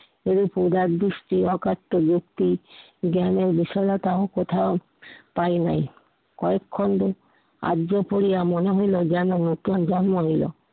এই পুজার দৃষ্টি অকাট্য ব্যক্তি জ্ঞানের বিশালতা কোথায় পাই নাই। কয়েক খণ্ড আর্য করিয়া মনে হইলো যেন নতুন জন্ম নিলো।